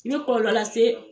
I bɛ kɔlɔlɔ lase